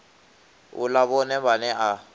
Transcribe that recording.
u ḽa vhone vhaṋe a